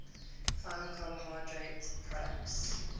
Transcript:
final carbohydrate products